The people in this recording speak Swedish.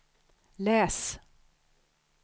läs